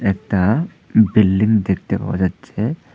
একটা বিল্ডিং দেখতে পাওয়া যাচ্ছে।